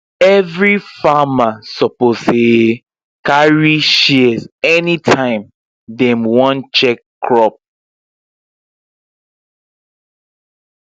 every farmer suppose um carry shears anytime dem wan check crop